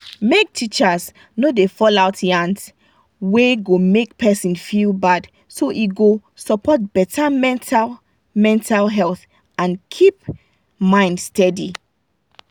make teachers no da fall out yans wey go make person feel bad so e go support better mental mental health and keep mind steady.